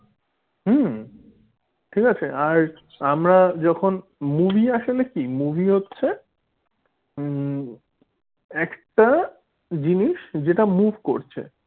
হম ঠিক আছে? আর আমরা যখন movie আসলে কি movie হচ্ছে হম একটা জিনিস যেটা move করছে।